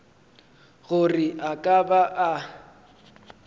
gore a ka ba a